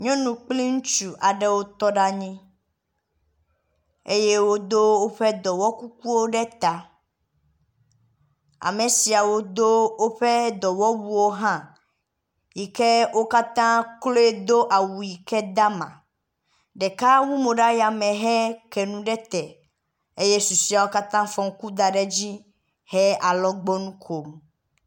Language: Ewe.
nyɔnu kpli ŋutsu wó tɔɖe anyi eye wodó wóƒe dɔme kukuwo ɖe ta , amesiawo dó wóƒe dɔwɔwuwo hã yike wókatã kloe dó awu yike damá ɖeka wu mò ɖe yame he kɛnu ɖete eye susoeawo katã fɔ ŋku da ɖe dzi he alɔgbɔnu kom